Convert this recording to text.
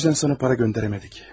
Bu üzdən sənə para göndərəmədik.